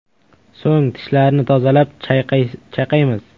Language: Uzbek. So‘ng tishlarni tozalab, chayqaymiz.